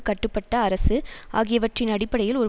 கட்டுப்பட்ட அரசு ஆகியவற்றின் அடிப்படையில் ஒரு